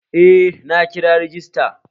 Eh, na kira rajista